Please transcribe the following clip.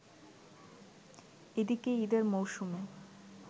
এদিকে ঈদের মৌসুমে